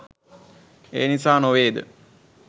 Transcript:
ඒ නිසා නොවේද?